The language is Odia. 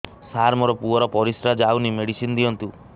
ସାର ମୋର ପୁଅର ପରିସ୍ରା ଯାଉନି ମେଡିସିନ ଦିଅନ୍ତୁ